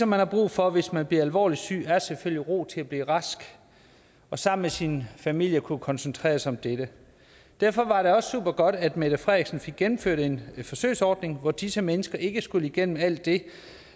man har brug for hvis man bliver alvorligt syg er selvfølgelig ro til at blive rask og sammen med sin familie at kunne koncentrere sig om dette derfor var det også super godt at mette frederiksen fik gennemført en forsøgsordning hvor disse mennesker ikke skulle igennem alt det